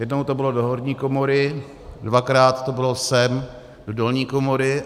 Jednou to bylo do horní komory, dvakrát to bylo sem do dolní komory.